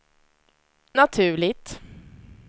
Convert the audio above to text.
naturligt